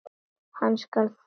Hann skal þrauka.